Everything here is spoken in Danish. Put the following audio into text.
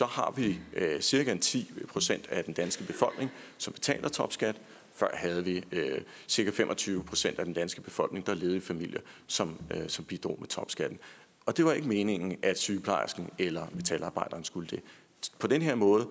har vi cirka ti procent af den danske befolkning som betaler topskat før havde vi cirka fem og tyve procent af den danske befolkning der levede i familier som bidrog med topskatten og det var ikke meningen at sygeplejersken eller metalarbejderen skulle det på den her måde